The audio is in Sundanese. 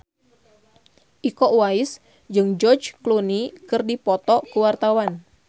Iko Uwais jeung George Clooney keur dipoto ku wartawan